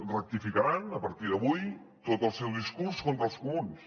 rectificaran a partir d’avui tot el seu discurs contra els comuns